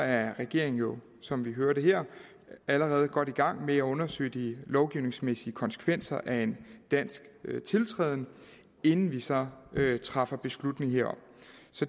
at regeringen jo som vi hørte her allerede er godt i gang med at undersøge de lovgivningsmæssige konsekvenser af en dansk tiltrædelse inden vi så træffer beslutning herom